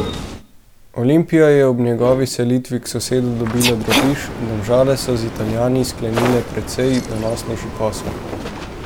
Olimpija je ob njegovi selitvi k sosedu dobila drobiž, Domžale so z Italijani sklenile precej donosnejši posel.